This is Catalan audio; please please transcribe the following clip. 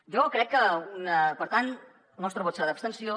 jo crec que per tant el nostre vot serà d’abstenció